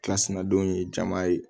Kilasina don ye jama ye